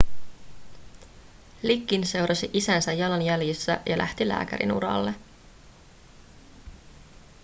liggins seurasi isänsä jalanjäljissä ja lähti lääkärinuralle